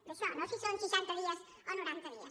d’això no si són seixanta dies o noranta dies